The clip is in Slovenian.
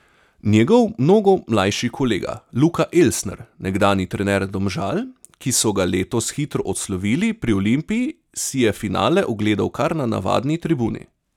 Njegov mnogo mlajši kolega Luka Elsner, nekdanji trener Domžal, ki so ga letos hitro odslovili pri Olimpiji, si je finale ogledal kar na navadni tribuni.